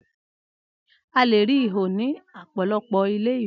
Alè ri ihò ní apolopo ilé iwe